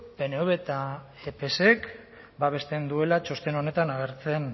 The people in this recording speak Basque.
pnvk eta psek babesten duela txosten honetan agertzen